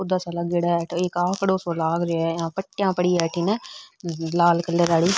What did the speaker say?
पौधा सो लागेड़ो है अठ एक आकड़ो सो लाग रो है यहां पट्टीया पड़ी है अठन लाल कलर आली।